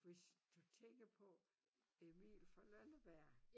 Hvis du tænker på Emil fra Lønneberg